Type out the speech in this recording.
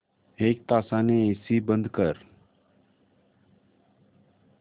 एक तासाने एसी बंद कर